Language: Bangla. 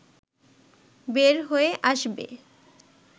বের হয়ে আসবে